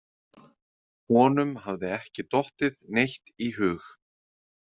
Honum hafði ekki dottið neitt í hug.